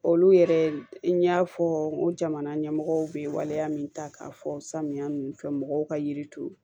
Olu yɛrɛ n y'a fɔ n ko jamana ɲɛmɔgɔw bɛ waleya min ta k'a fɔ samiya ninnu fɛ mɔgɔw ka yiri turu